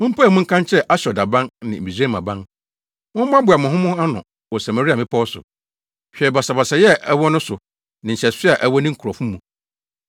Mompae mu nka nkyerɛ Asdod aban ne Misraim aban: “Mommoaboa mo ho ano wɔ Samaria mmepɔw so; hwɛ basabasayɛ a ɛwɔ no so ne nhyɛso a ɛwɔ ne nkurɔfo mu.”